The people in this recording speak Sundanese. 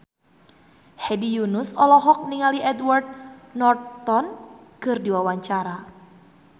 Hedi Yunus olohok ningali Edward Norton keur diwawancara